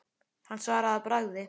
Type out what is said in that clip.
Hann svaraði að bragði.